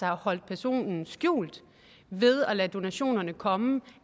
har holdt personens navn skjult ved at lade donationerne komme